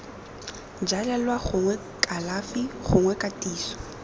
jalelelwa gongwe kalafi gongwe katiso